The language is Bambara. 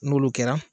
N'olu kɛra